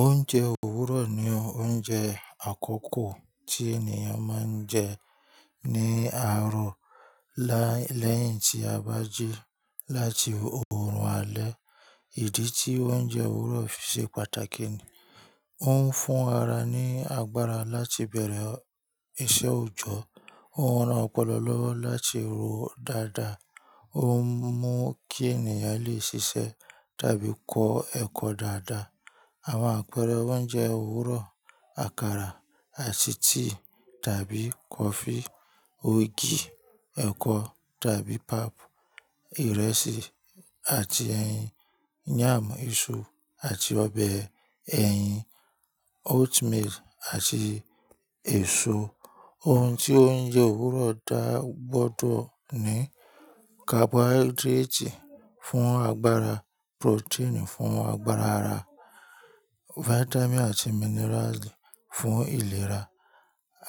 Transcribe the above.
Oúnjẹ òwúrọ̀ ni oúnjẹ àkọ́kọ́ tí ènìyàn máa ń jẹ ní àárọ̀ lẹ́yìn tí a bá jí láti òórùn alẹ́. Ìdí tí oúnjẹ òwúrọ̀ fi ṣe pàtàkì ni ó ń fún ara ní agbára láti bẹ̀rẹ̀ iṣẹ́ òjọ́, ó ran ọpọlọ lọ́wọ́ láti rò dáadáa, ó ń mú kí ènìyàn lè ṣiṣẹ́ tàbí kọ ẹkọ dáadáa. Àwọn àpẹẹrẹ oúnjẹ òwúrọ̀: Àkàrà àti tíì tàbí kọfí, ògì, ẹ̀kọ tàbí pap, ìrẹsì àti ẹyin, yàm iṣu àti ọbẹ̀ ẹ̀yin, oatmeal àti èso. Ohun tí oúnjẹ òwúrọ̀ dá gbọ́dọ̀ ní carbohydrates fún agbára, protein fún àgbàrá ara, vitamin àti minerals fún ìlera.